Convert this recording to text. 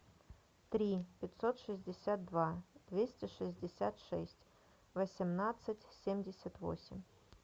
три пятьсот шестьдесят два двести шестьдесят шесть восемнадцать семьдесят восемь